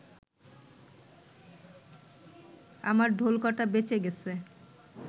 আমার ঢোলকটা বেঁচে গেছে